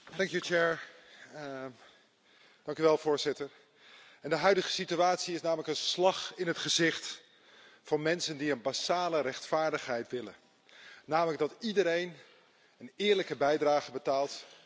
Voorzitter, de huidige situatie is een slag in het gezicht van mensen die een basale rechtvaardigheid willen, namelijk dat iedereen een eerlijke bijdrage betaalt, ook de multinationals en de miljonairs.